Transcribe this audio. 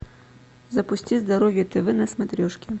запусти здоровье тв на смотрешке